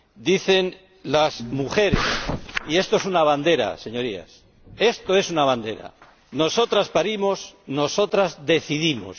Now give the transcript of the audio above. Dicen las mujeres ―y esto es una bandera, Señorías, esto es una bandera― Nosotras parimos, nosotras decidimos.